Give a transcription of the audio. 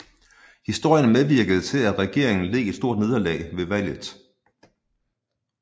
Historien medvirkede til at regeringen led et stort nederlag ved valget